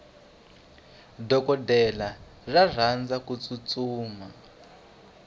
dokodela ra rhandza kutsutsuma